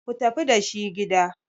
ku tafi da shi gida!